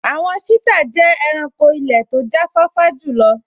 Àwọn sítà jẹ́ ẹranko ilẹ̀ tó jáfáfá jùlọ